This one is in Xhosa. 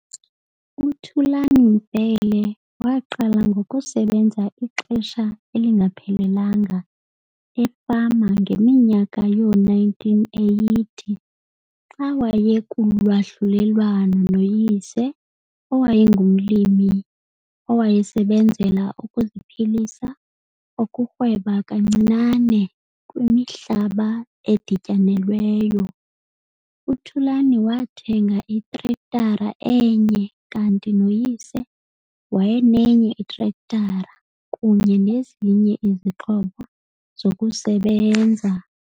UThulan Mbele waqala ngokusebenza ixesha elingaphelelanga efama ngeminyaka yoo-1980 xa wayekulwahlulelwano noyise owayengumlimi owayesebenzela ukuziphilisa okurhweba kancinane kwimihlaba edityanelweyo. UThulan wathenga itrektara enye kanti noyise wayenenye itrektara kunye nezinye izixhobo zokusebenza.